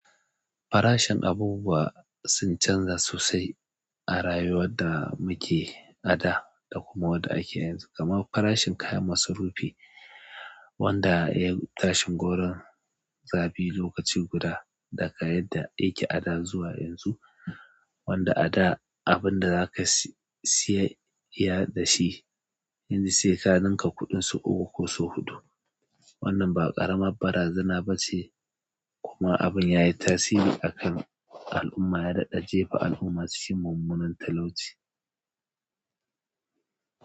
Farashin abubuwa sun canza sosai a rayuwar da muke ada da kuma wadda ake yanzu. Kamar farashin kayan masarufi wanda ya tashi gauron zabi lokaci guda daga yadda ake ada zuwa yanzu, wanda ada abin da zaka siya da shi yanzu sai ka ninka kuɗin sau uku ko sau huɗu. Wannan ba ƙaramar ba razana ba ce kuma abin yayi tasiri a kan al'umma, ya daɗa jefa al'umma su shiga mummunan talauci.